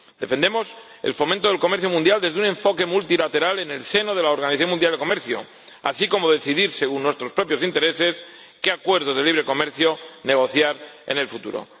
Defendemos el fomento del comercio mundial desde un enfoque multilateral en el seno de la Organización Mundial de Comercio, así como poder decidir, según nuestros propios intereses, qué acuerdos de libre comercio negociar en el futuro.